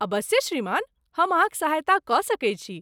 अबस्से श्रीमान, हम अहाँक सहायता कऽ सकैत छी।